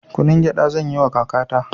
Kunun gyaɗa zanyiwa kakata